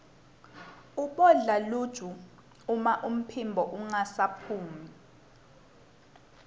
ubodla luju uma liphimbo lingasaphumi